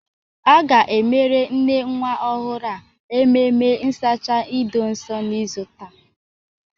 A ga-emere nne nwa ọhụrụ a ememe nsacha ido nso n'izu taa.